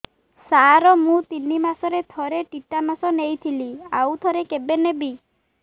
ସାର ମୁଁ ତିନି ମାସରେ ଥରେ ଟିଟାନସ ନେଇଥିଲି ଆଉ ଥରେ କେବେ ନେବି